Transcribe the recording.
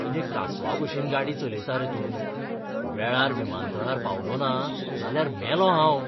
कितें कासवाभशेन गाडी चलयता रे तूं? वेळार विमानतळार पावलो ना जाल्यार मेलों हांव.